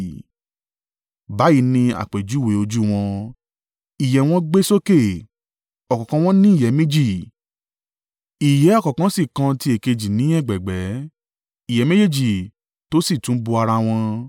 Báyìí ni àpèjúwe ojú wọ́n. Ìyẹ́ wọn gbé sókè; ọ̀kọ̀ọ̀kan wọn ní ìyẹ́ méjì, ìyẹ́ ọ̀kan sì kan ti èkejì ni ẹ̀gbẹ̀ẹ̀gbẹ́, ìyẹ́ méjì tó sì tún bo ara wọn.